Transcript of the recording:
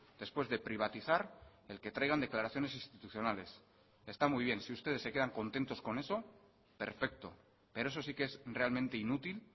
después de privatizar el que traigan declaraciones institucionales está muy bien si ustedes se quedan contentos con eso perfecto pero eso sí que es realmente inútil